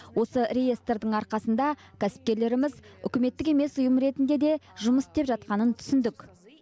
осы реестрдің арқасында кәсіпкерлеріміз үкіметтік емес ұйым ретінде де жұмыс істеп жатқанын түсіндік